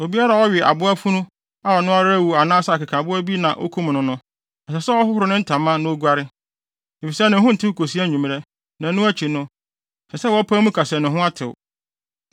“ ‘Obiara a ɔwe aboafunu a ɔno ara awu anaasɛ akekaboa bi na okum no no, ɛsɛ sɛ ɔhoro ne ntama na oguare, efisɛ ne ho ntew kosi anwummere; ɛno akyi no, ɛsɛ sɛ wɔpae mu ka se ne ho atew.